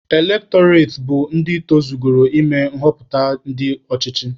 Elektọreti bụ ndị tozugoro ịme nghọpụta ndị ọchịchị.